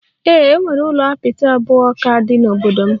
Ee, e nwere ụlọ apịtị abụọ ka dị n'obodo m